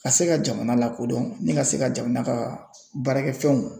Ka se ka jamana lakodɔn ni ka se ka jamana ka baarakɛfɛnw